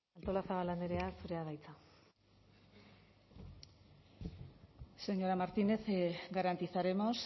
artolazabal andrea zurea da hitza señora martínez garantizaremos